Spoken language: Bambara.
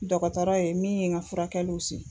Dɔgɔtɔrɔ ye min ye n ka furakɛliw si